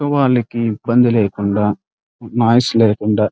తక్కువ వాళ్లకి ఇబ్బంది లేకుండా నాయిస్ లేకుండా --